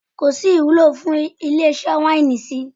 Kò sí ìwúlò fún ilé-iṣẹ́ wáínì sí i.